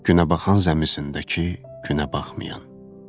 Günəbaxan zəmisindəki günəbaxmayan.